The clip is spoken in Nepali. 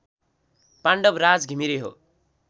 पाण्डवराज घिमिरे हो